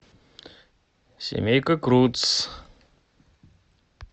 семейка крудс